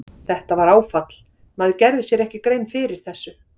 Þetta var áfall, maður gerði sér ekki grein fyrir þessu.